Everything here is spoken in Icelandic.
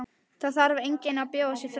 Það þarf enginn að bjóða sig fram.